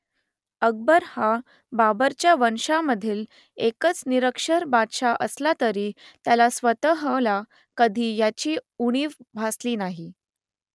अकबर हा बाबरच्या वंशजांमधील एकच निरक्षर बादशहा असला तरी त्याला स्वतःला कधी याची उणीव भासली नाही